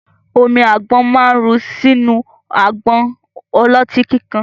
Omi àgbọ̀n ma ru sínú àgbọn ọlọ́tí kíkan